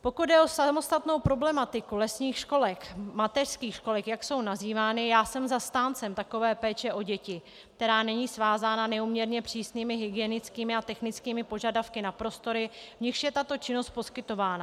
Pokud jde o samostatnou problematiku lesních školek, mateřských školek, jak jsou nazývány, já jsem zastáncem takové péče o děti, která není svázána neúměrně přísnými hygienickými a technickými požadavky na prostory, v nichž je tato činnost poskytována.